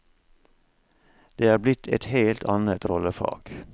Det er blitt et helt annet rollefag.